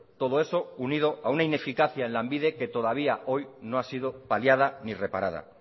todo eso unido a una ineficacia en lanbide que todavía hoy no ha sido paliada ni reparada